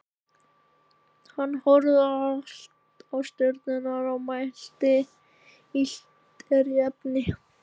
Hann horfði á stjörnurnar og mælti: Illt er í efni.